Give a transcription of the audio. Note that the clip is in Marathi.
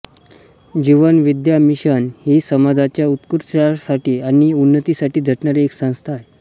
जीवन विद्या मिशन ही समाजाच्या उत्कर्षासाठी आणि उन्नतीसाठी झटणारी एक संस्था आहे